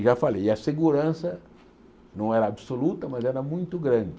E já falei, e a segurança não era absoluta, mas era muito grande.